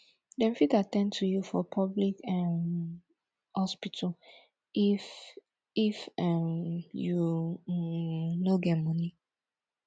dem fit at ten d to you for public um hospital if if um you um no get moni